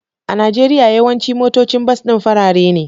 A Najeriya, yawancin motocin bas din farare ne